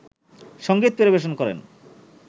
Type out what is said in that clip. সংগীত পরিবেশন করেন